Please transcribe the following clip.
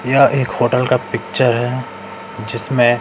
यह एक होटल का पिक्चर है जिसमें--